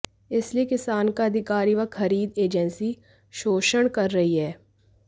इसलिए किसान का अधिकारी व खरीद एजेंसी शोषण कर रही है